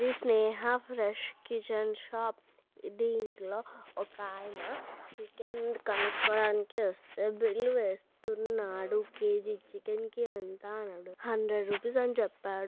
ఇది Sneha fresh kitchen shop దింట్లో ఒక ఆయన చికెన్ బిల్ వేస్తున్నాడు కే.జీ చికెన్ కి ఎంత అంటే హండ్రెడ్ రూపీస్ అని చెప్పాడు.